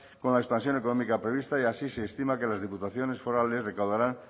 con la expansión económica prevista y así se estima que las diputaciones forales recaudarán